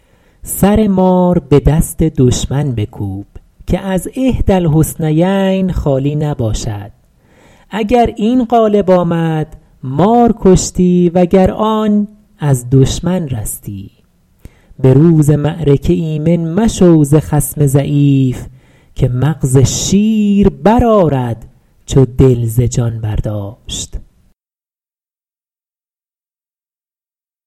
سر مار به دست دشمن بکوب که از احدی الحسنیین خالی نباشد اگر این غالب آمد مار کشتی و گر آن از دشمن رستی به روز معرکه ایمن مشو ز خصم ضعیف که مغز شیر برآرد چو دل ز جان برداشت